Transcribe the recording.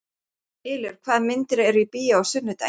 Ylur, hvaða myndir eru í bíó á sunnudaginn?